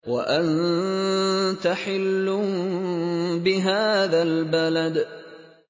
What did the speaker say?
وَأَنتَ حِلٌّ بِهَٰذَا الْبَلَدِ